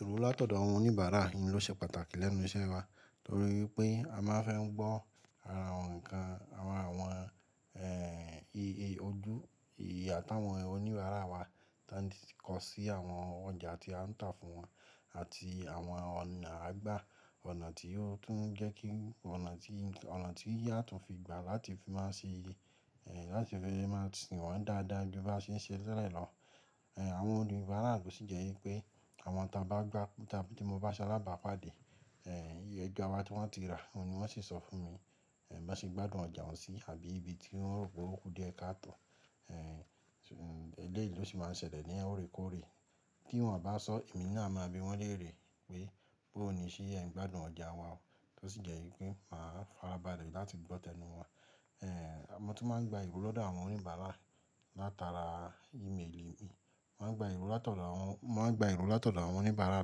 Ìrò látọ̀dọ̀ àwọn oníbàárà ni ló ṣe pàtàkì lẹ́nu iṣẹ́ wa torí pé a máa fẹ́ ń gbọ́ ara awon nǹkan, àwọn iye ojú, ìyà táwọn oníbàárà wa toń kọ sí àwọn ọjà tí a ń tà fún wọn àti àwọn ọ̀nà à gbá, ọ̀nà tí ó tún ń jẹ́ kí ọ̀nà tí a tún fi gbà láti fi máa ṣe, láti fi máa sìn wọ́n dáadáa ju bá ṣe ń ṣẹ telẹ̀ llọ. Àwọn oníbàárà ló sì jẹ́ pé àwọn tá bá gbá, tí mo bá ṣe alábàápàdé, iye ẹja wa tí wọ́n ti rà oun ni wọ́n sì sọ fún mi, bon ṣe gbádùn ọjà ohun sí àbí ibi tí wọn rò pé ó kú díẹ̀ káàtò. Eléyìí ló sì máa ń ṣẹlẹ̀ ní òrékóòré. Kí wọ́n bá sọ, èmi náà a máa bi wọ́n léèrè pé bóo ni ṣé ẹ ń gbádùn ọjà wa ó. Tó sì jẹ́ wípé máa farabalẹ̀ láti gbọ́ tẹnu wọ́n. Mo tún máa ń gba ìrò lọ̀dọ̀ àwọn oníbàárà látara ímeèlì mi. Mo maa ń gba ìrò látọ̀dọ̀ àwọn oníbàárà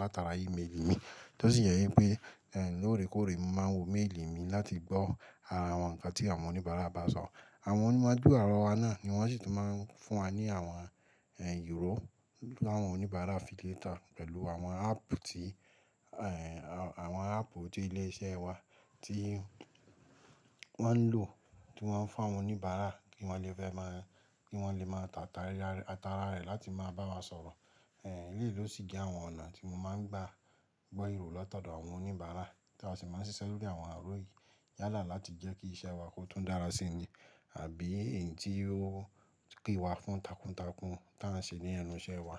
látara ímeèlì mi. Tó sì jẹ́ wípé lóòrèkóòrè mo máa ń wo méèlì mi láti gbọ́ ara àwọn nǹkan tí àwọn oníbàárà bá sọ. Àwọn onímọ̀ dúrọ̀ wa náà ni wọ́n sì tún máa ń fún wa ní àwọn ìró láwọn oníbàárà affiliate pẹ̀lú àwọn áàpù tí àwọn áàpù tí ilé iṣẹ́ wa tí wọ́n nlò, tí wọ́n fún àwọn oníbàárà kí wọ́n lè fẹ́ máa, kí wọ́n lè máa tà ara rẹ̀ láti máa bá wa sọ̀rọ̀. Eléyìí ló sì jẹ́ àwọn ọ̀nà tí mo máa ń gbá gbo iro lati odò àwọn oníbàárà tí a sì máa ń ṣiṣẹ́ lórí àwọn iro yìí yálà láti jẹ́ kí iṣẹ́ wa kó tún dára sí i àbí èyí tí ó pè wá fún takuntakun tí à ń ṣe ní ẹnu iṣẹ́ wa.